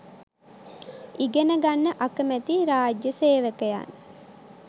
ඉගනගන්න අකමැති රා‍ජ්‍ය සේවකයන්